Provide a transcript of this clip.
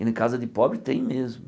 E na casa de pobre tem mesmo.